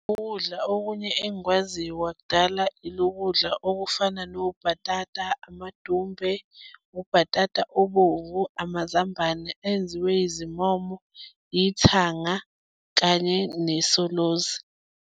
Ukudla okunye engikwaziyo kwakudala ilokudla okufana nobhatata amadumbe, ubhatata obomvu, amazambane enziwe izimomo, ithanga, kanye nesolozi.